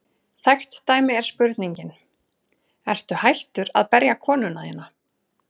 Þekkt dæmi er spurningin: Ertu hættur að berja konuna þína?